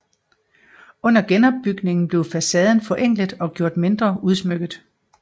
Under genopbygningen blev facaden forenklet og gjort mindre udsmykket